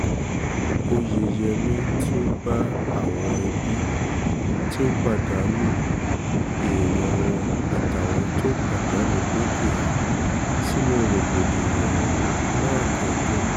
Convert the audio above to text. óyeyèmí tún bá àwọn ẹbí tó pàdánù tó pàdánù um èèyàn wọn àtàwọn tó pàdánù dúkìá sínú rògbòdìyàn um náà kẹ́dùn